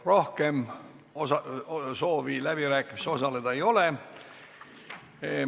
Rohkem soove läbirääkimistel osaleda ei ole.